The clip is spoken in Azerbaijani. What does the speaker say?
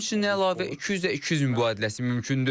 Həmçinin əlavə 200-ə 200 mübadiləsi mümkündür.